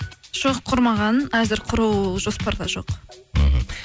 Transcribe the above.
жоқ құрмаған әзір құру жоспарда жоқ мхм